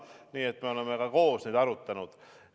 Nii et me oleme ka koos neid arutanud.